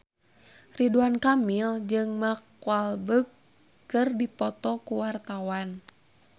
Ridwan Kamil jeung Mark Walberg keur dipoto ku wartawan